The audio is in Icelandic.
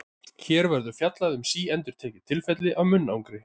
Hér verður fjallað um síendurtekin tilfelli af munnangri.